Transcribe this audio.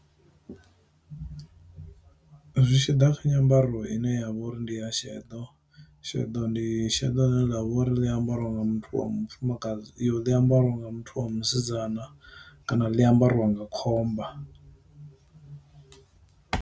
Zwi tshiḓa kha nyambaro ine ya vha uri ndi ya shedo, sheḓo ndi sheḓo ḽine ḽavho uri ḽi ambariwa nga muthu wa mufumakadzi yo ḽi ambariwa nga muthu wa musidzana, kana ḽi ambariwa nga khomba.